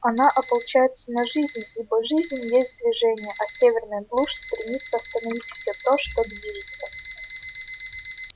она ополчается на жизнь ибо жизнь есть движение а северная глушь стремится остановить все то что движется